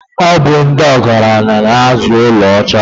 Ọ bụ ndị ọgaranya na-azụ ọlaọcha.